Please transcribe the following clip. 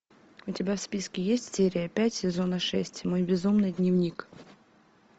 у тебя в списке есть серия пять сезона шесть мой безумный дневник